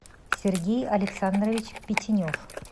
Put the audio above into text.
сергей александрович петенев